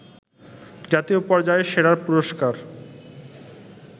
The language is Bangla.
জাতীয় পর্যায়ের সেরার পুরস্কার